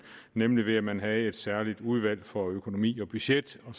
nemlig ved at man havde et særligt udvalg for økonomi og budget hvor